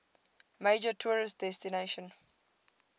major tourist destination